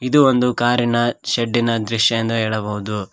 ಇದು ಒಂದು ಕಾರಿನ ಶೇಡ್ಡಿನ ದೃಶ್ಯ ಎಂದು ಹೇಳಬಹುದು.